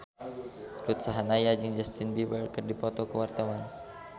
Ruth Sahanaya jeung Justin Beiber keur dipoto ku wartawan